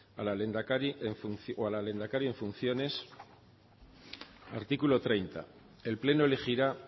a la lehendakari o el lehendakari en funciones artículo treinta uno el pleno elegirá